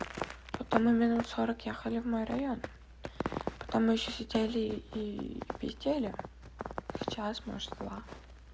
потом мы минут сорок ехали в мой район потом мы ещё сидели и пиздели час может два